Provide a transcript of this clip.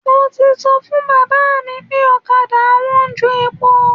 Mo ti sọ fún bàbá mi pé ọ̀kadà wọn ń jo epo.